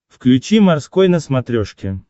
включи морской на смотрешке